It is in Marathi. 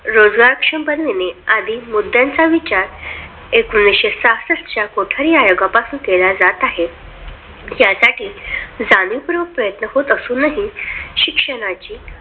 रोजगार शपथ घेणे आधी मुद्द्यांचा विचार एकोणीसशे सहासष्ट च्या कोठारी आयोगापासून केला जात आहे. त्यासाठी जाणीवपूर्वक प्रयत्न होत असूनही शिक्षणाचे